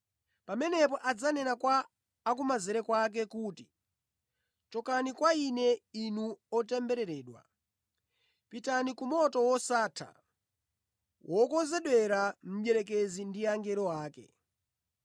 “Pamenepo adzanena kwa akumanzere kwake kuti, ‘Chokani kwa Ine, inu otembereredwa, pitani ku moto wosatha wokonzedwera mdierekezi ndi angelo ake.